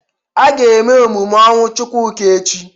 A ga-eme emume ọnwụ Chukwuka echi.